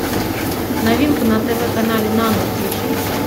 новинку на тв канале нано включи